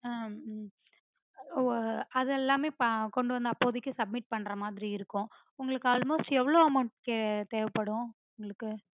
ஆஹ் ஹம் ஓ அதெல்லாம் கொண்டுவந்து அப்போதைக்கு submit பண்றமாதிரி இருக்கும் உங்களுக்கு almost எவளோ amount தேவைப்படும் உங்களுக்கு